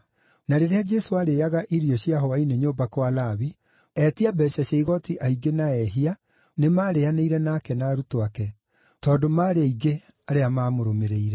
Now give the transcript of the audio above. Na rĩrĩa Jesũ aarĩĩaga irio cia hwaĩ-inĩ nyũmba kwa Lawi, etia mbeeca cia igooti aingĩ na ehia nĩmarĩĩanĩire nake na arutwo ake, tondũ maarĩ aingĩ nĩmamũrũmĩrĩire.